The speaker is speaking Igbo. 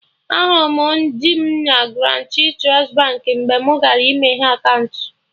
Ahụrụ m di m na Guarantee Trust Baankị mgbe mụ gara ịmeghe akaụntụ